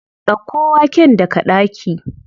Ɗauko waken daga ɗaki.